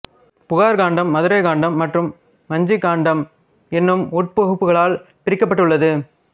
புகார்க் காண்டம் மதுரைக் காண்டம் மற்றும் வஞ்சிக் காண்டம் எனும் உட்பகுப்புகளால் பிரிக்கப்பட்டுள்ளது